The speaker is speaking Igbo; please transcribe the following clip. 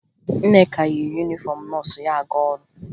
Nneka yi yunifọmụ nọọsụ ya aga ọrụ